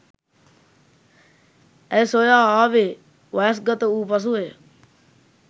ඇය සොයා ආවේ වයස්ගත වූ පසුවය.